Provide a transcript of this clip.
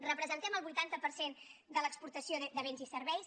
representem el vuitanta per cent de l’exportació de béns i serveis